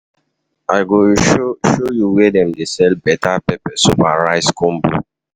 I go show you where dem dey sell better pepper soup and rice combo.